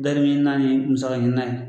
dari ɲininan ni musaka ɲininan ye.